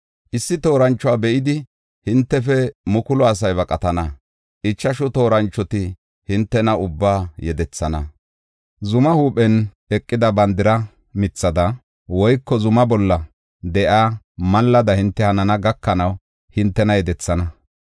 Issi tooranchuwa be7idi hintefe mukulu asay baqatana; ichashu tooranchoti hintena ubbaa yedethana. Zumaa huuphen eqida bandira mithada woyko zuma bolla de7iya mallada hinte hanana gakanaw hintena yedethena.